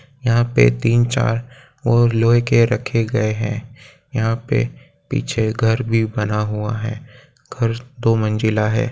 यहाँ पे तीन चार और लोहे के रखे गए है यहाँ पे पीछे घर भी बना हुआ है घर दो मंजिला है।